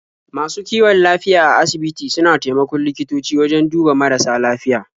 Masu kiwon lafiya a asibiti suna taimakon likitoci wajen duba marasa lafiya.